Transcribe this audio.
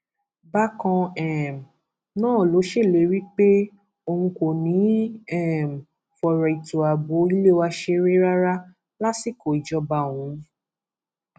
bákan um náà ló ṣèlérí pé òun kò ní í um fọrọ ètò ààbò ilé wa ṣeré rárá lásìkò ìjọba òun